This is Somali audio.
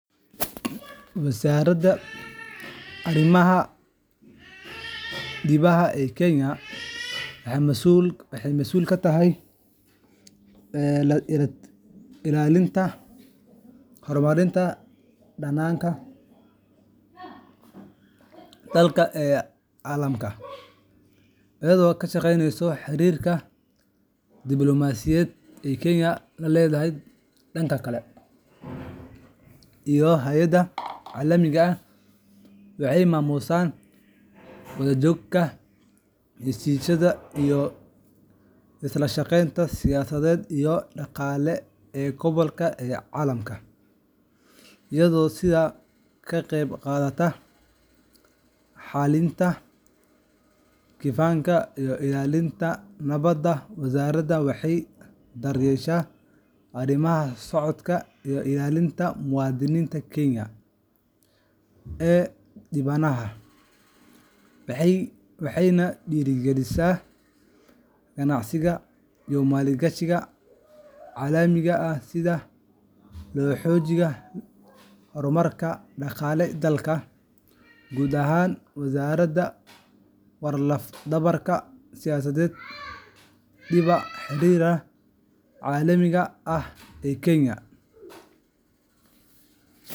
Wasaaradda Arrimaha Dibadda ee Kenya waxay mas’uul ka tahay ilaalinta iyo horumarinta danaha dalka ee caalamka, iyadoo ka shaqeysa xiriirka diblomaasiyadeed ee Kenya la leedahay dalalka kale iyo hay’adaha caalamiga ah. Waxay maamushaa wadaxaajoodka, heshiisyada, iyo iskaashiga siyaasadeed iyo dhaqaale ee gobolka iyo caalamka, iyadoo sidoo kale ka qayb qaadata xalinta khilaafaadka iyo ilaalinta nabadda. Wasaaraddu waxay daryeeshaa arrimaha socdaalka iyo ilaalinta muwaadiniinta Kenya ee dibadda, waxayna dhiirrigelisaa ganacsiga iyo maalgashiga caalamiga ah si loo xoojiyo horumarka dhaqaalaha dalka. Guud ahaan, wasaaradda waa laf-dhabarta siyaasadda dibadda iyo xiriirka caalamiga ah ee Kenya.